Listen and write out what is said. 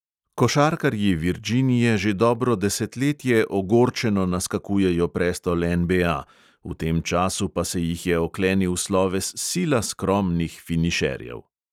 Košarkarji virdžinje že dobro desetletje ogorčeno naskakujejo prestol NBA, v tem času pa se jih oklenil sloves sila skromnih finišerjev.